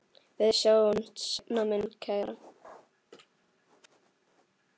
Við sjáumst seinna mín kæra.